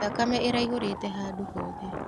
Thakame ĩraihũrĩte handũ hothe.